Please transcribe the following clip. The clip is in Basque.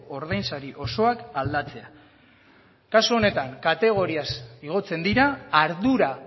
ordainsari osoak aldatzea kasu honetan kategoriaz igotzen dira ardura